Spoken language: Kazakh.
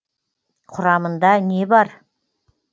құрамында не бар